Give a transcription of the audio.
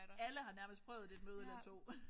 Alle har nærmest prøvet det møde eller 2